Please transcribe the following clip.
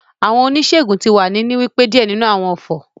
The herbalist is saying some incantations